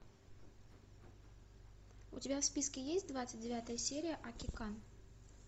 у тебя в списке есть двадцать девятая серия акикан